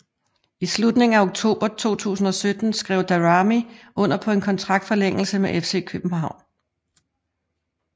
I slutningen af oktober 2017 skrev Daramy under på en kontraktforlængelse med FC København